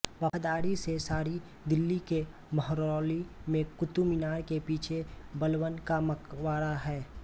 वफ़ादारी से सारी दिल्ली के महरौली में कुतुबमीनार के पीछे बलबन का मकबरा है